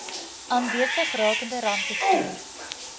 aanwesig rakende rampbestuur